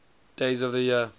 days of the year